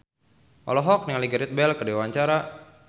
Nadine Chandrawinata olohok ningali Gareth Bale keur diwawancara